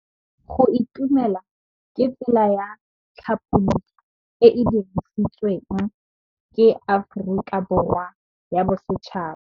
Go itumela ke tsela ya tlhapolisô e e dirisitsweng ke Aforika Borwa ya Bosetšhaba.